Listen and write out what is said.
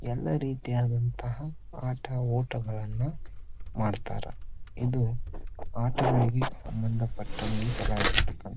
ಎಲ್ಲರೀತಿಯಾದಂತಹ ಆಟ ಓಟಗಳನ್ನು ಮಾಡ್ತಾರ ಇದು ಆಟಗಳಿಗೆ ಸಂಬಂಧ ಪಟ್ಟ ಮೀಸಲಾಗಿರುತ್ತಕ --